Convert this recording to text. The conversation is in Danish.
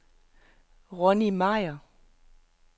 Ronni Meyer